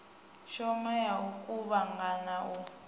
shoma ya u kuvhangana u